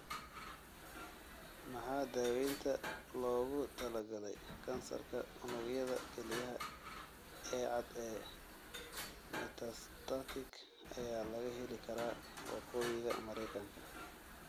Maxaa daawaynta loogu talagalay kansarka unugyada kelyaha ee cad ee metastatic ayaa laga heli karaa Waqooyiga meereykanka?